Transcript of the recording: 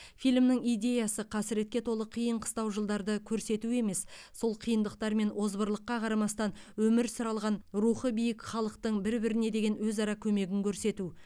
фильмнің идеясы қасіретке толы қиын қыстау жылдарды көрсету емес сол қиындықтар мен озбырлыққа қарамастан өмір сүре алған рухы биік халықтың бір біріне деген өзара көмегін көрсету